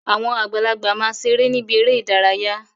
Àwọn àgbàlagbà ma ṣeré ni ibi eré ìdárayá.